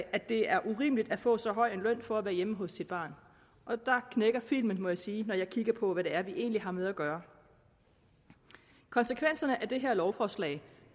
at det er urimeligt at få så høj en løn for at være hjemme hos sit barn og der knækker filmen må jeg sige når jeg kigger på hvad det egentlig er vi har med at gøre konsekvenserne af det her lovforslag